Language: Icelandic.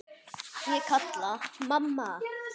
Ég kalla: Mamma!